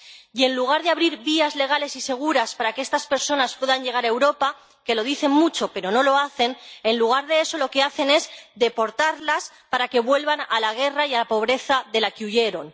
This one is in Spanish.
Y, en lugar de abrir vías legales y seguras para que estas personas puedan llegar a Europa —que lo dicen mucho pero no lo hacen—, en lugar de eso, lo que hacen es deportarlas para que vuelvan a la guerra y a la pobreza de la que huyeron.